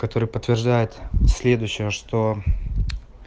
который подтверждает следующее что